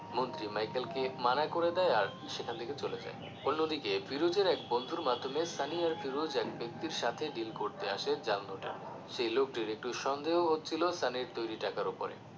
মন্ত্রী Michael কে মানা করে দেয় আর সেখান থেকে চলে যায় অন্যদিকে ফিরোজের এক বন্ধুর মাধ্যমে সানি আর ফিরোজ এক ব্যক্তির সাথে deal করতে আসে জাল নোটের সেই লোকটির একটু সন্দেহ হচ্ছিলো সানির তৈরি টাকার ওপরে